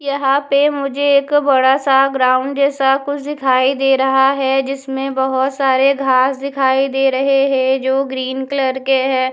यहाँ पे मुझे एक बड़ा सा ग्राउंड जैसा कुछ दिखाई दे रहा है जिसमे बहुत सारे घास दिखाई दे रहे है जो ग्रीन कलर के है।